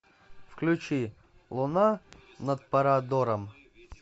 включи луна над парадором